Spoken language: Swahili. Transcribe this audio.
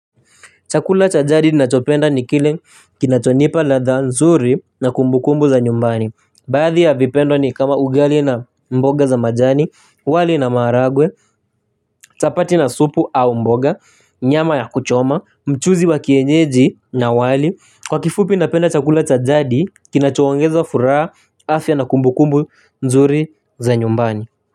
Chakula cha jadi nachopenda ni kile kinachonipa ladha nzuri na kumbu kumbu za nyumbani. Baadhi ya vipendo ni kama ugali na mboga za majani, wali na maharagwe, chapati na supu au mboga, nyama ya kuchoma, mchuzi wa kienyeji na wali. Kwa kifupi, napenda chakula cha jadi, kinachoongeza furaha, afya na kumbu kumbu nzuri za nyumbani.